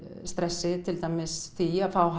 stressi til dæmis því að fá